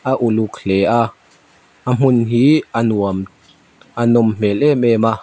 a uluk hle a a hmun hi a nuam a nawm hmel em em a.